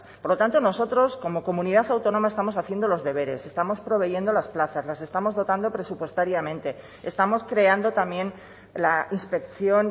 por lo tanto nosotros como comunidad autónoma estamos haciendo los deberes estamos proveyendo las plazas las estamos dotando presupuestariamente estamos creando también la inspección